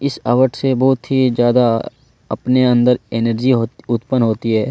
इस आवट से बहुत ही ज्यादा अपने अंदर एनर्जी होती उत्पन्न होती हैं।